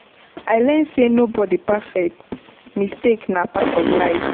I learn sey nobody perfect, mistakes na part of life.